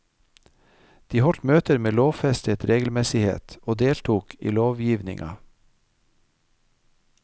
De holdt møter med lovfestet regelmessighet og deltok i lovgivninga.